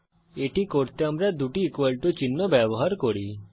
এটি করতে আমরা দুটি ইকুয়াল টু চিহ্ন ব্যবহার করি